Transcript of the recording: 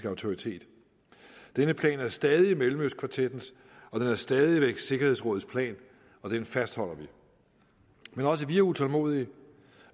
autoritet denne plan er stadig mellemøstkvartettens den er stadig væk sikkerhedsrådets plan og den fastholder vi men også vi er utålmodige